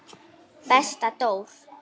Hvernig læt ég!